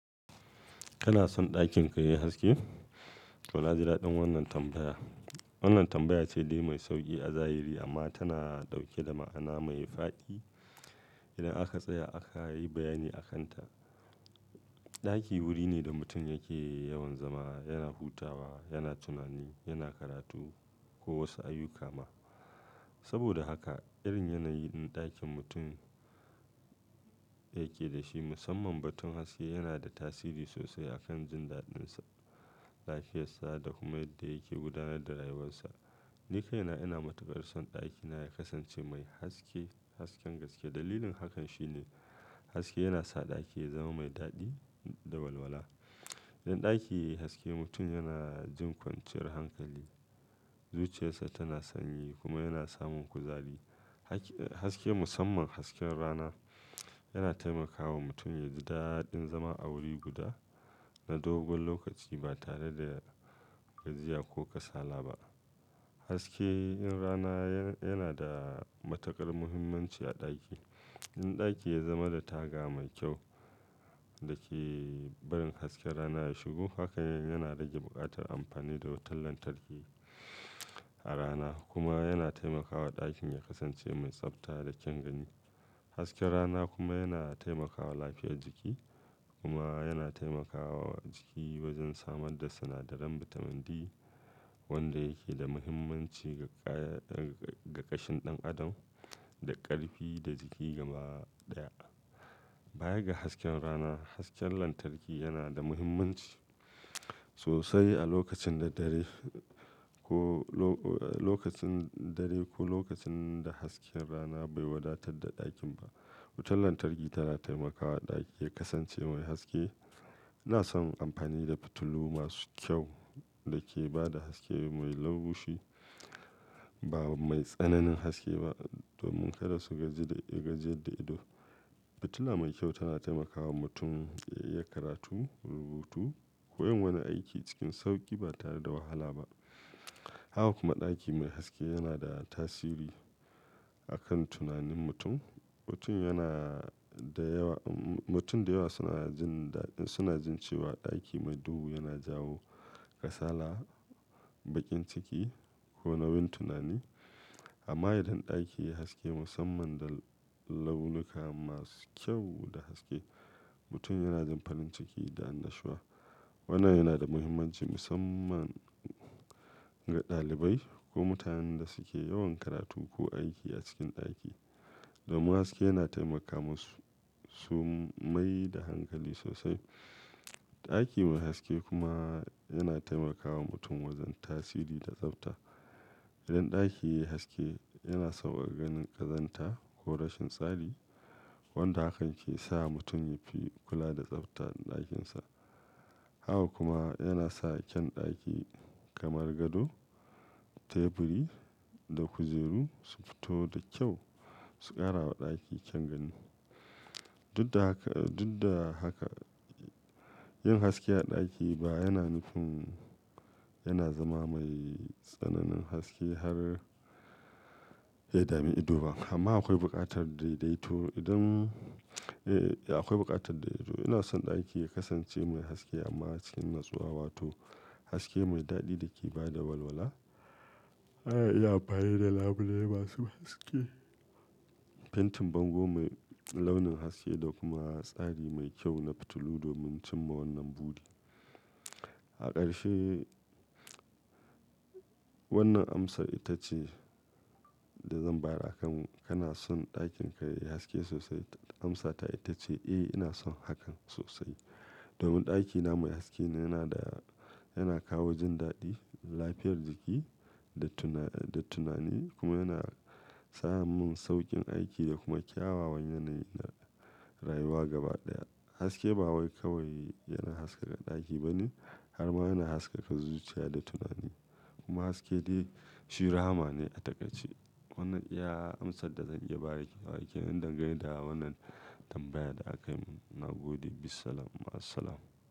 Kana son ɗakin ka yayi haske? To, na ji daɗin wannan tambaya. Wannan tambaya ce dai mai sauƙi a zahiri amma tana ɗauke da ma'ana mai fadi idan aka tsaya aka yi bayani a kanta. Ɗaki wuri ne da mutum yake yawan zama, yana hutawa, yana tunani, yana karatu ko wasu ayyuka ma. Saboda haka irin yanayin ɗakin mutum yake da shi musamman batun haske yana da tasiri sosai akan jin daɗinsa, lafiyarsa da kuma yadda yake gudanar da rayuwarsa. Ni kaina ina matuƙar son ɗakina ya kasance mai haske, hasken gaske. Dalilin hakan shi ne haske yana sa ɗaki ya zama mai daɗi da walwala. Idan ɗaki yayi haske mutum yana jin kwanciyar hankali, zuciyarsa tana sanyi kuma yana samun kuzari. Has-haske musamman hasken rana yana taimakawa mutum ya ji daɗin zama a wuri guda na dogon lokaci ba tare da gajiya ko kasala ba. Haske in rana yana da matuƙar muhimmanci a ɗaki. Idan ɗaki ya zama da taga mai kyau da ke barin hasken rana ya shigo, hakan yana rage buƙatar amfani da wutan lantarki a rana kuma yana taimakawa ɗakin ya kasance mai tsafta da kyan gani. Hasken rana kuma yana taimakawa lafiyar jiki kuma yana taimakawa jiki wajen samar da sinadarin bitamin D wanda yake da muhimmanci ga ƙaya-- ga ƙashin ɗan adam, da ƙarfi da jiki gaba ɗaya. Baya ga hasken rana, hasken lantarki yana da muhimmanci sosai a lokacin da dare ko lo-lokacin dare ko lokacin da hasken rana bai wadatar da ɗakin ba. Wutan lantarki tana taimakawa ɗaki ya kasance mai haske. Ina son amfani da fitilu masu kyau da ke ba da haske mai laushi ba mai tsananin haske ba domin kada su gaji da, gajiyadda ido. Fitila mai kyau tana taimakawa mutum ya iya karatu, rubutu ko yin wani aiki cikin sauƙi ba tare da wahala ba. Haka kuma ɗaki mai haske yana da tasiri a kan tunanin mutum. Mutum yana da yawa, mutum da yawa suna jin daɗin, suna jin cewa ɗaki mai duhu yana jawo kasala, baƙin ciki ko nauyin tunani. Amma idan ɗaki yayi haske musamman da launuka masu kyau da haske, mutum yana jin farin ciki da annashuwa. Wannan yana da muhimmanci musamman ga ɗalibai ko mutanen da suke yawan karatu ko aiki a cikin ɗaki. Domin haske yana taimakana masu, su mai da hankali sosai. Ɗaki mai haske kuma yana taimakawa mutum wajen tasiri da tsafta. Idan ɗaki yayi haske yana sauƙaƙa ganin ƙazanta ko rashin tsari wanda hakan ke sa mutum yafi kula da tsaftar ɗakinsa. Haka kuma yana sa kyan ɗaki kamar gado, teburi da kujeru su fito da kyau su ƙara wa ɗaki kyan gani. Dudda haka, dudda haka yin haske a ɗaki ba yana nufin yana zama mai tsananin haske har ya dami ido ba. Amma akwai buƙatar daidaito idan, eh akwai buƙatar daidaito. Ina son ɗaki ya kasance mai haske amma cikin natsuwa wato haske mai daɗi da ke ba da walwala. Ana iya amfani da labule masu haske, fentin bango mai launin haske da kuma tsari mai kyau na fitilu domin cimma wannan buɗi. A ƙarshe wannan amsar ita ce da zan bayar a kan kana son ɗakin ka yayi haske sosai? Amsata ita ce eh ina son hakan sosai. Domin ɗakina mai haske yana da, yana kawo jin daɗi, lafiyar jiki da tuna, da tunani kuma yana sa mun sauƙin aiki da kuma kyawawan yanayi na rayuwa gaba ɗaya. Haske ba wai kawai yana haskaka ɗaki ba ne har ma yana haskaka zuciya da tunani. Kuma haske dai shi raha ma ne a takaice. Wannan iya amsar da zan iya bayar wa yake. Dan gane da wannan tambayar da aka yi mun. Na gode. Bissalam. Ma as-salam.